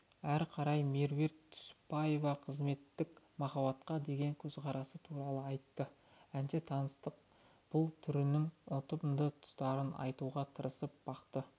әрі қарай меруерт түсіпбаева қызметтік махаббатқа деген көзқарасы туралы айтты әнші таныстықтың бұл түрінің ұтымды тұстарын айтуға тырысып бақты